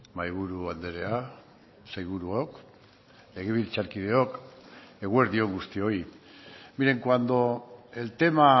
mahaiburu andrea sailburuok legebiltzarkideok eguerdi on guztioi miren cuando el tema